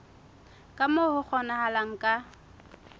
ka moo ho kgonahalang ka